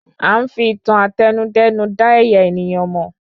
À ń fi ìtàn Àtẹnudẹ́nu da ẹ̀yà ènìyàn mò